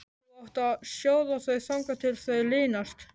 Þú átt að sjóða þau þangað til þau linast.